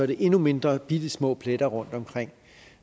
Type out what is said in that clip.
det endnu mindre bittesmå pletter rundtomkring